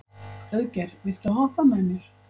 Auðgeir, viltu hoppa með mér?